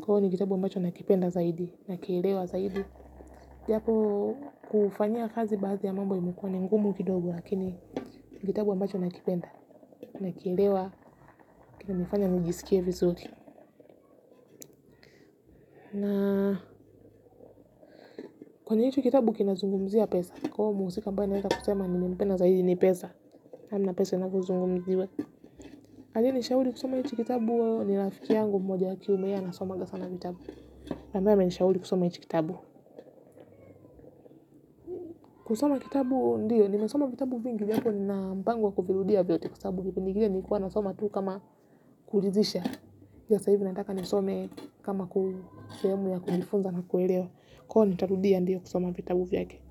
Kwahio ni kitabu ambacho nakipenda zaidi na kielewa zaidi. Japo kuufanyia kazi baathi ya mambo imukua ni ngumu kidogo lakini kitabu ambacho nakipenda na kielewa kina nifanya njisikie vizuri. Kani hicho kitabu kina zungumzia pesa, kwauo muusika ambaye naeza kusema ni mpenda zaidi ni pesa. Namna pesa inavozungumziwa aliye nishauli kusoma hichikitabu. Nilafiki yangu mmoja wa kiume ye anasomanga sana vitabu ambaye amenishauli kusoma hichikitabu. Kusoma kitabu ndiyo, nimesoma vitabu vingi. Vyapo nina mpango wa kuvirudia vyote kwasabu kipindi kile nilikuwa nasoma tuu kama kulizisha, ju sahivi nataka nisome kama ku sehemu ya kujifunza na kuelewa, kwao nitarudia. Ndiyo kusoma vitabu vyake.